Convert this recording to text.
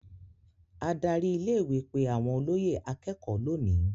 Adarí ilé-ìwé pe àwọn olóyè akékọ̀ọ́ lónìí.